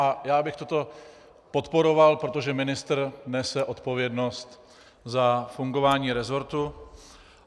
A já bych toto podporoval, protože ministr nese odpovědnost za fungování resortu.